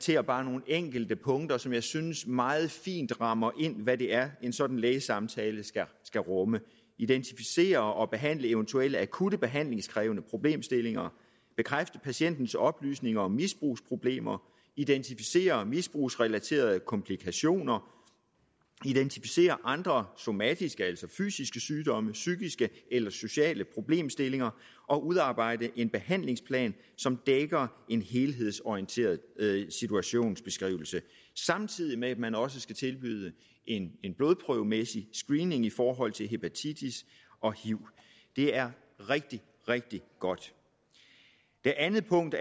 her bare nogle enkelte punkter som jeg synes meget fint rammer ind hvad det er en sådan lægesamtale skal rumme at identificere og behandle eventuelle akutte behandlingskrævende problemstillinger at bekræfte patientens oplysninger om misbrugsproblemer identificere misbrugsrelaterede komplikationer at identificere andre somatiske altså fysiske sygdomme psykiske eller sociale problemstillinger at udarbejde en behandlingsplan som dækker en helhedsorienteret situationsbeskrivelse samtidig med at man også skal tilbyde en blodprøvemæssig screening i forhold til hepatitis og hiv det er rigtig rigtig godt det andet punkt